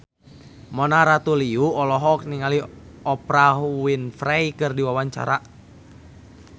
Mona Ratuliu olohok ningali Oprah Winfrey keur diwawancara